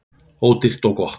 Ódýrt og gott.